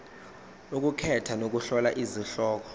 ukukhetha nokuhlola izihloko